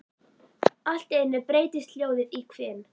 Allt í einu breytist hljóðið í hvin.